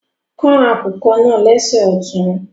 Kàn akùkọ̀ naa lẹ̀ṣẹ̀ o ṣọtún